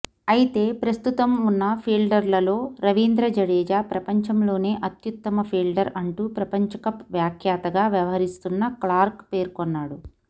అయితే ప్రస్తుతం ఉన్న ఫీల్డర్లలో రవీంద్ర జడేజా ప్రపంచంలోనే అత్యుత్తమ ఫీల్డర్ అంటూ ప్రపంచకప్ వ్యాఖ్యాతగా వ్యవహరిస్తున్న క్లార్క్ పేర్కొన్నాడు